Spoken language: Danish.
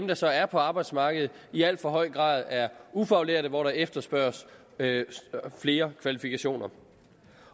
der så er på arbejdsmarkedet i al for høj grad er ufaglærte hvor der efterspørges flere kvalifikationer